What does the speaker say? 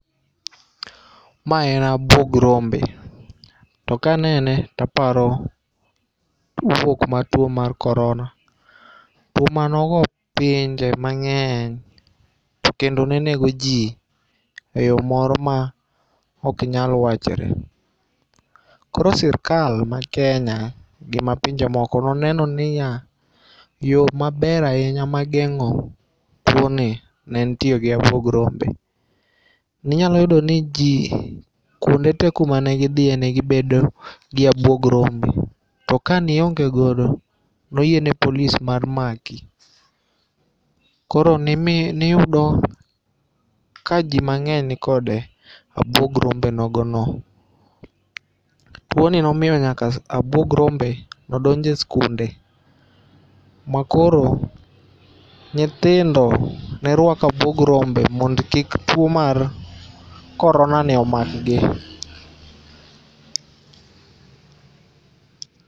Mae en abuog rombe. To kanene to aparo bukruok mar tuo mar korona. Tuo manogo pinje mang'eny. To kendo ne nego ji e yo moro ma ok nyal wachore. Koro sirkal ma Kenya gi ma pinje moko noneno niya yo maber ahinya mageng'o tuo ni ne en tiyo gi abuog rombe. Ninyalo yudo ni ji kuonde te kumane gidhiye ne gibedo gi abuog rombe. To ka ne iongego ne oyie ne polis mar maki. Koro nimi niyudo kaji mang'eny ni kode abuog rombe nogo no. Tuo ni nomiyo nyaka abuog rombe nodonje skunde makoro nyithindo nerwako abuog rombe mondo kik tuo mar korona ni omak gi